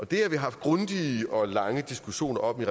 det har vi haft grundige og lange diskussioner om i